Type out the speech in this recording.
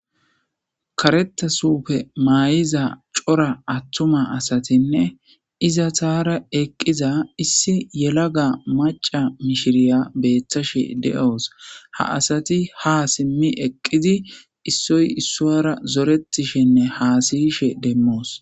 Kareta sufe maay'iza cora attuma asatinne iza taara eqqiza issi yelaga maca mishiriya beetthashe de'oos ha asati ha simmi eqqidi issoy issoara zoretishenne haasiyishe demmoos.